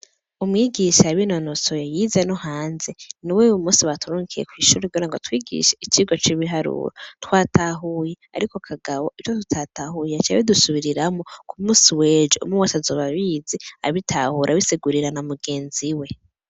Umwigisha yabinonosoye yize no hanze niwo uyumunsi baturungikiye kwishuri kugira atwigishe icigwa c'ibiharuro twatahuye ariko kagabo ivyo tutatahuye yaca abidusubiriramwo kumunsi wejo umwe wese azoba abizi abitahura abisigurira na mugenzi we .